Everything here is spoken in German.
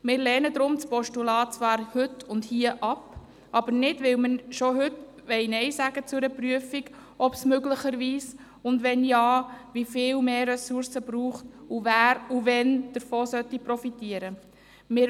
Deshalb lehnen wir das Postulat hier und heute ab – nicht, weil wir Nein sagen wollen zu einer Prüfung, ob es möglicherweise mehr Ressourcen geben soll, und wenn ja, wie viele und wer davon wann profitieren soll.